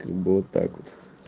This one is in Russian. вот так вот